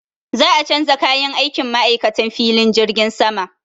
Za a canza kayan aikin ma'aikatan filin jirgin sama.